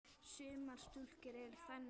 Sumar stúlkur eru þannig líka.